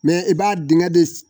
Mɛ i b'a dingɛ de